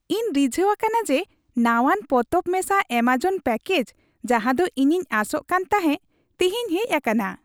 ᱤᱧ ᱨᱤᱡᱷᱟᱹᱣ ᱟᱠᱟᱱᱟ ᱡᱮ ᱱᱟᱶᱟᱱ ᱯᱚᱛᱚᱵ ᱢᱮᱥᱟ ᱮᱹᱢᱟᱡᱚᱱ ᱯᱮᱹᱠᱮᱡ, ᱡᱟᱦᱟᱸ ᱫᱚ ᱤᱧᱤᱧ ᱟᱥᱚᱜ ᱠᱟᱱᱛᱟᱦᱮᱸ, ᱛᱤᱦᱤᱧ ᱦᱮᱡ ᱟᱠᱟᱱᱟ ᱾